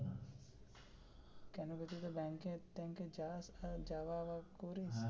কেন বলছি তো ব্যাংকে ট্যাংকে যাস যাওয়া আওয়া করিস.